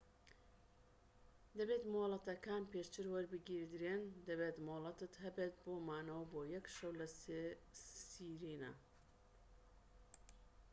دەبێت مۆڵەتەکان پێشتر وەربگیردرێن دەبێت مۆڵەتت هەبێت بۆ مانەوە بۆ یەك شەو لە سیرێنا